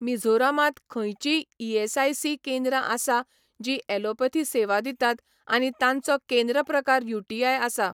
मिझोरामांत खंयचींय ईएसआयसी केंद्रां आसा जीं ॲलोपथी सेवा दितात आनी तांचो केंद्र प्रकार यूटीआय आसा?